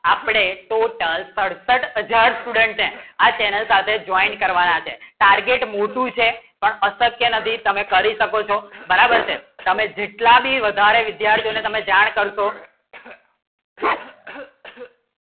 આપણે ટોટલ સાડાસાત હાજર student ને આ channel સાથે જોઈન્ટ કરવાના છે target મોટું છે પણ અશક્ય નથી તમે કરી શકો છો તમે જેટલા ભી વધારે વિદ્યાર્થી તમે જાણશો